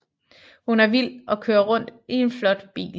Hun er vild og kører rundt i en flot bil